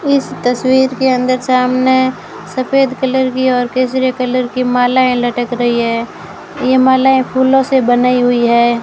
इस तस्वीर के अंदर सामने सफेद कलर की और केसरिया कलर की मालाएं लटक रही है ये मालाएं फूलों से बनाई हुई है।